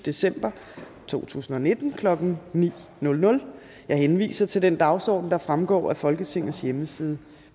december to tusind og nitten klokken nul ni jeg henviser til den dagsorden der fremgår af folketingets hjemmeside